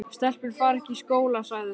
Stelpur fara ekki í skóla, sagði hann.